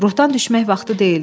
Ruhdan düşmək vaxtı deyildi.